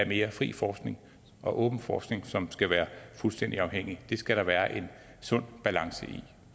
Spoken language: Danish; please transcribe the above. mere fri forskning og åben forskning som skal være fuldstændig uafhængig det skal der være en sund balance i